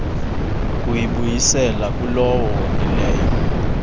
kuyibuyisela kulowo wonileyo